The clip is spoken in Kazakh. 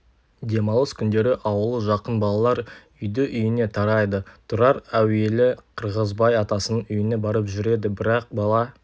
демалыс күндері ауылы жақын балалар үйді-үйіне тарайды тұрар әуелі қырғызбай атасының үйіне барып жүрді бірақ бала